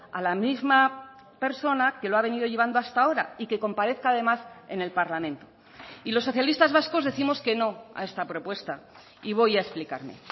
a la misma persona que lo ha venido llevando hasta ahora y que comparezca además en el parlamento y los socialistas vascos décimos que no a esta propuesta y voy a explicarme